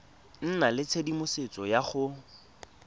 nna le tshedimosetso ya go